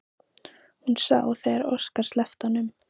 Hún sá þegar Óskar sleppti honum.